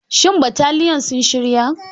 Shin bataliyan sun shira?